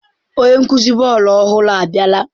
Onye nkuzi bọọlụ ọhụrụ abiala?